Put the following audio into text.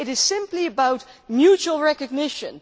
It is simply about mutual recognition.